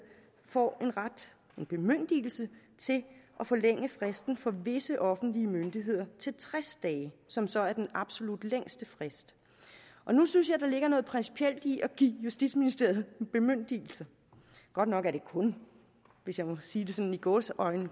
får en ret en bemyndigelse til at forlænge fristen for visse offentlige myndigheder til tres dage som så er den absolut længste frist nu synes jeg der ligger noget principielt i at give justitsministeriet en bemyndigelse godt nok er det kun hvis jeg må sige sådan i gåseøjne